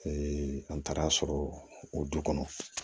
an taara sɔrɔ o du kɔnɔ